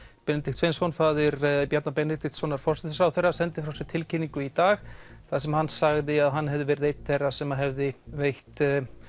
Benedikt Sveinsson faðir Bjarna Benediktssonar forsætisráðherra sendir frá sér tilkynningu í dag þar sem hann sagði að hann hefði verið einn þeirra sem að hefði veitt